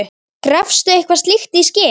Gafstu eitthvað slíkt í skyn?